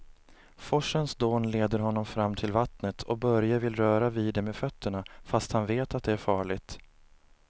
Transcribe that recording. Forsens dån leder honom fram till vattnet och Börje vill röra vid det med fötterna, fast han vet att det är farligt.